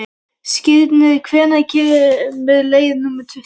Skírnir, hvenær kemur leið númer tuttugu?